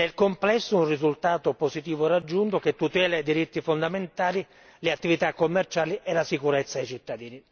Nel complesso un risultato positivo raggiunto, che tutela i diritti fondamentali, le attività commerciali e la sicurezza ai cittadini.